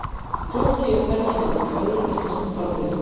Flóki er hvergi nefndur í öðrum íslenskum fornritum.